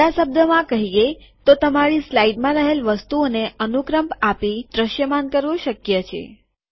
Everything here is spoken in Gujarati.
બીજા શબ્દોમાં કહીએ તો તમારી સ્લાઈડમાં રહેલ વસ્તુઓને અનુક્રમ આપી દ્રશ્યમાન કરવું શક્ય છે